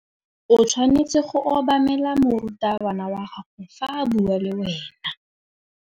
O tshwanetse go obamela morutabana wa gago fa a bua le wena.